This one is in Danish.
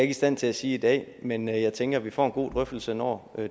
i stand til at sige i dag men jeg tænker at vi får en god drøftelse når